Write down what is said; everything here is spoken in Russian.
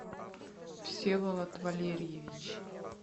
всеволод валерьевич